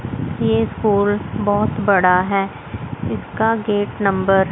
ये फूल बहोत बड़ा है इसका गेट नंबर --